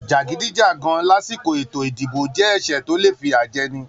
Jagidijagan lásìkò ètò ìdìbò jẹ ẹsẹ tó le fiyajẹni.